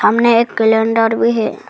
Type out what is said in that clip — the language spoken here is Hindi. समने एक कैलेंडर भी है।